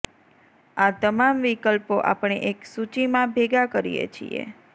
આ તમામ વિકલ્પો આપણે એક સૂચિમાં ભેગા કરીએ છીએ